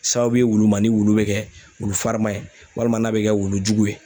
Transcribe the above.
Sababu ye wulu ma, ni wulu be kɛ wulu farima ye walima n'a be kɛ wulujugu ye.